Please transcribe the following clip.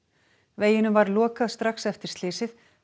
veginum var lokað strax eftir slysið